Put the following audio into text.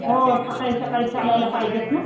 हो सकाळी सकाळी चालायला पाहिजेच ना.